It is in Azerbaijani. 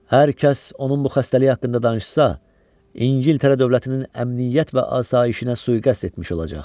Hər kəs onun bu xəstəliyi haqqında danışsa, İngiltərə dövlətinin əmniyyət və asayişinə sui-qəsd etmiş olacaq.